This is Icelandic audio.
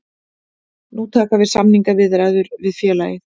Nú taka við samningaviðræður við félagið